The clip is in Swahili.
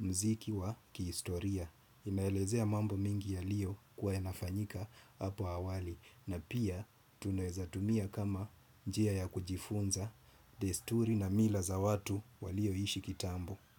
mziki wa ki historia. Inaelezea mambo mengi yaliyo kua yanafanyika hapo awali. Na pia tunaezatumia kama njia ya kujifunza desturi na mila za watu walio ishi kitambo.